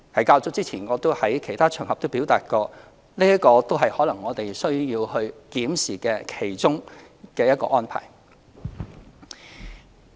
較早前我也曾在其他場合表達，這可能是我們需要檢視的其中一項安排。